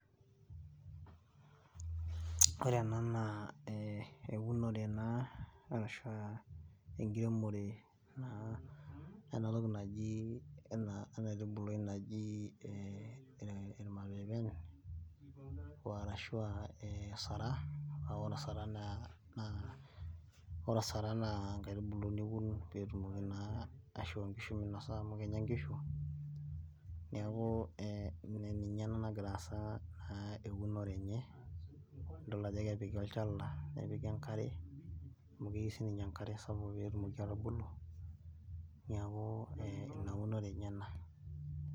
ore ena naa eunore naa arashu a enkiremore naa ena toki naji ena aitubuli naji irmapeepeni, arashu osaraa, naa ore osaraa naa ore osaraa naa enkaitubuli niun, pee etumoki naa aishoo nkishu minosa amu kenya nkishu, neeku ninye ena nagira aasa naa eunore enye. idol ajo kepiki olchala, nepiki enkare, amu keyieu sii ninye enkare sapuk pee etumoki atubulu, neeku ina unore enye ena.